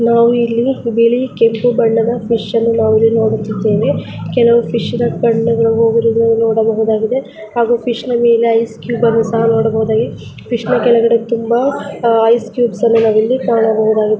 ನಾವು ಇಲ್ಲಿ ಬಿಳಿ ಕೆಂಪು ಬಣ್ಣದ ಫಿಶನ್ನು ನಾವಿಲ್ಲಿ ನೋಡುತ್ತಿದ್ದೇವೆ ಕೆಲವು ಫಿಶ್ಶಿನ ಕಣ್ಣುಗಳು ಹೋಗಿರುವುದನ್ನು ನೋಡಬಹುದಾಗಿದೆ ಹಾಗೆ ಫಿಶ್ಹಿನಾ ಮೇಲೆ ಐಸ್ ಕ್ಯೂಬ್ನ್ನು ಸಹ ನೋಡಬಹುದಾಗಿದೆ ಫಿಶ್ನ ಕೆಳಗಡೆ ತುಂಬಾ ಐಸ್ ಕ್ಯೂಬ್ಸ್ಅನ್ನು ನಾವಿಲ್ಲಿ ಕಾಣಬಹುದಾಗಿದೆ.